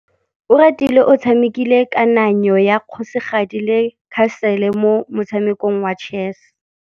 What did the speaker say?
Oratile o tshamekile kananyô ya kgosigadi le khasêlê mo motshamekong wa chess.